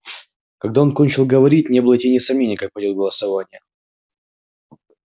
когда он кончил говорить не было и тени сомнения как пойдёт голосование